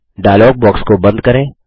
dialogue box को बंद करें